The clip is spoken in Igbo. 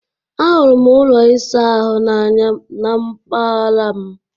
Ahụrụ m ụlọ ịsa ahụ n'anya na mpaghara m